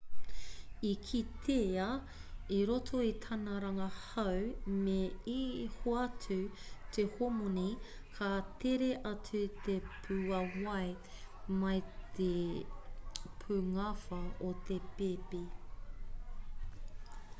i kitea i roto i tana rangahau me i hoatu te homoni ka tere atu te pūāwai mai o te pungawha o te pēpi